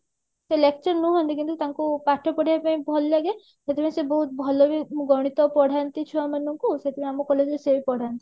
ସେ lecture ନୁହନ୍ତି କିନ୍ତୁ ତାଙ୍କୁ ପାଠ ପଢେଇବା ପାଇଁ ଭଲ ଲାଗେ ସେଠି ପାଇଁ ସେ ବହୁତ ଭଲ ବି ଗଣିତ ପଢାନ୍ତି ଛୁଆ ମାନଙ୍କୁ ସେଥିପାଇଁ ଆମ collage ରେ ସେଇ ପଢାନ୍ତି